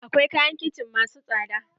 Akwai kayan kicin masu tsada.